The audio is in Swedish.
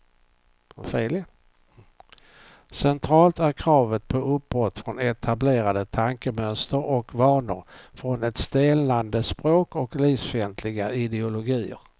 Centralt är kravet på uppbrott från etablerade tankemönster och vanor, från ett stelnande språk och livsfientliga ideologier.